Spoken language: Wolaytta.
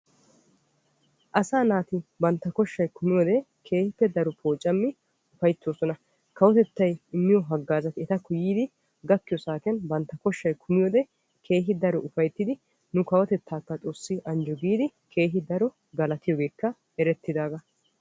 Asaa naati bantta koshay kumiyoode daro poocammi ufayttosonna kawotettay immiyo hagaazatti etta gakkiyo saatiyan bantta koshay kummiyoode keehi daro ufayttiddi nu kawotetta xoossi anjjo giidi galatiyoogekka erettidaaga.